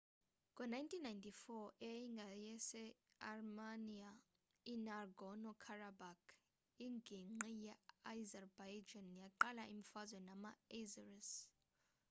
ngo-1994 eyayingeyase-armenia i-nagorno-karabakh inginqgi ye-azerbaijan yaqala imfazwe nama-azeris